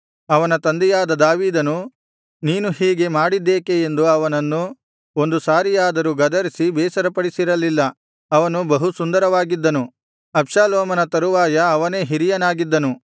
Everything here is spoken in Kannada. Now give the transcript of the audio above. ಅವನ ತಂದೆಯಾದ ದಾವೀದನು ನೀನು ಹೀಗೆ ಮಾಡಿದ್ದೇಕೆ ಎಂದು ಅವನನ್ನು ಒಂದು ಸಾರಿಯಾದರೂ ಗದರಿಸಿ ಬೇಸರಪಡಿಸಿರಲಿಲ್ಲ ಅವನು ಬಹು ಸುಂದರವಾಗಿದ್ದನು ಅಬ್ಷಾಲೋಮನ ತರುವಾಯ ಅವನೇ ಹಿರಿಯನಾಗಿದ್ದನು